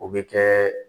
O bɛ kɛ